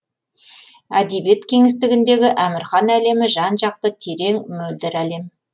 әдебиет кеңістігіндегі әмірхан әлемі жан жақты терең мөлдір әлем